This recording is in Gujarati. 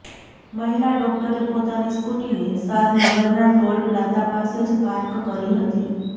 મહિલા ડોકટરે પોતાની સ્કૂટીને શાદનગરના ટોલ પ્લાઝા પાસે જ પાર્ક કરી હતી